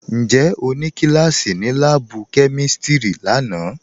Ǹjẹ́ o nì kílàsí ní làábù̀ kẹmístírì làánà